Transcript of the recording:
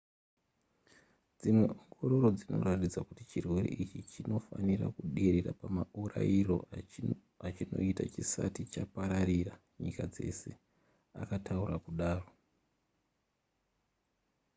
dzimwe ongororo dzinoratidza kuti chirwere ichi chinofanira kuderera pamaurayiro achinoita chisati chapararira nyika dzese akataura kudaro